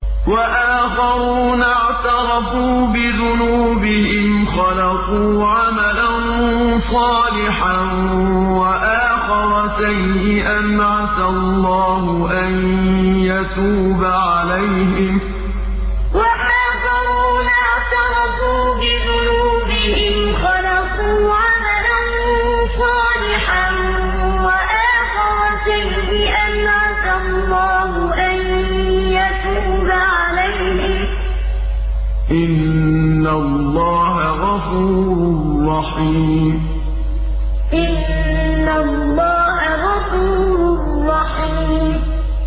وَآخَرُونَ اعْتَرَفُوا بِذُنُوبِهِمْ خَلَطُوا عَمَلًا صَالِحًا وَآخَرَ سَيِّئًا عَسَى اللَّهُ أَن يَتُوبَ عَلَيْهِمْ ۚ إِنَّ اللَّهَ غَفُورٌ رَّحِيمٌ وَآخَرُونَ اعْتَرَفُوا بِذُنُوبِهِمْ خَلَطُوا عَمَلًا صَالِحًا وَآخَرَ سَيِّئًا عَسَى اللَّهُ أَن يَتُوبَ عَلَيْهِمْ ۚ إِنَّ اللَّهَ غَفُورٌ رَّحِيمٌ